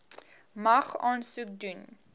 mag aansoek doen